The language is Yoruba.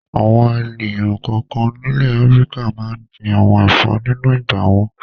Àwọn ènìyàn kọ̀ọ̀kan nílẹ̀ Áfíríkà máa ń gbin àwọn ẹ̀fọ́ nínú ìgbà wọn.